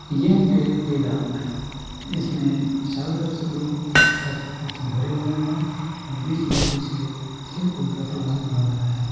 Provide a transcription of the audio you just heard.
ये हैं film playground इसमें चारों तरफ से लोग खचा खच भरे हुए हैं और बीच में कुछ है खेलकूद का प्रोग्राम हो रहा है‌।